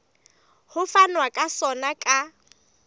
ho fanwa ka sona ka